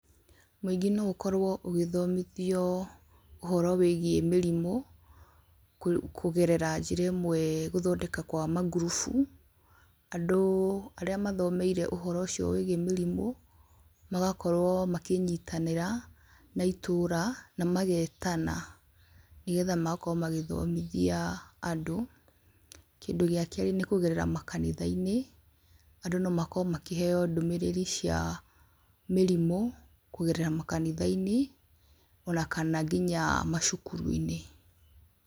Mũingĩ no ũkorwo ũgĩthomithio ũhoro wĩgiĩ mĩrimũ, kũ kũgerera njĩra ĩmwe gũthondeka kwa mangurubu, andũ arĩa mathomeire ũhoro ũcio wĩgiĩ mĩrimũ, magakorwo makĩnyitanĩra, na itũra, na magetana, nĩgetha magakorwo magĩthomithia andũ, kĩndũ gĩa kerĩ nĩkũgerera makanithainĩ, andũ nomakorwo makĩheo ndũmĩrĩri cia mĩrimũ, kũgerera makanithainĩ, ona kana nginya macukuruinĩ.